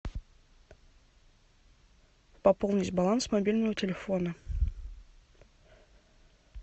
пополнить баланс мобильного телефона